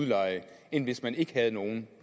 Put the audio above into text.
leje end hvis man ikke havde nogen